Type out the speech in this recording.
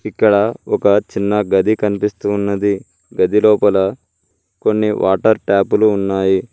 ఇక్కడ ఒక చిన్న గది కనిపిస్తూ ఉన్నది గదిలోపల కొన్ని వాటర్ ట్యాపులు ఉన్నాయి.